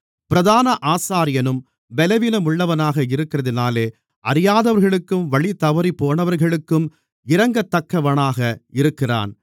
பிரதான ஆசாரியனும் பலவீனமுள்ளவனாக இருக்கிறதினாலே அறியாதவர்களுக்கும் வழி தவறிப்போனவர்களுக்கும் இரங்கத்தக்கவனாக இருக்கிறான்